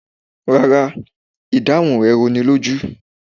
Rárá, ìdáhùn rẹ̀ rúnilójú